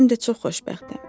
Həm də çox xoşbəxtəm.